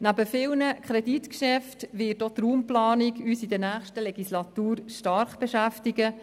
Neben vielen Kreditgeschäften wird uns in der nächsten Legislatur auch die Raumplanung stark beschäftigen.